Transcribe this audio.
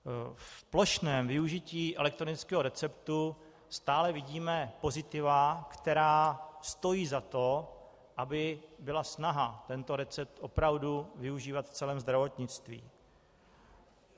V plošném využití elektronického receptu stále vidíme pozitiva, která stojí za to, aby byla snaha tento recept opravdu využívat v celém zdravotnictví.